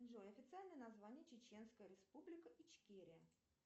джой официальное название чеченская республика ичкерия